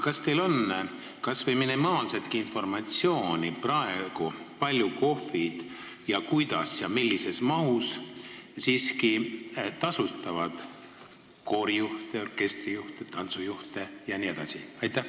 Kas teil on aga minimaalsetki informatsiooni, kui palju ja kuidas praegu KOV-id tasustavad koorijuhte, orkestrijuhte ja tantsujuhte?